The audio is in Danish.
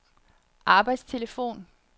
arbejdstelefon